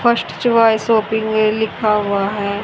First choice shopping में लिखा हुआ है।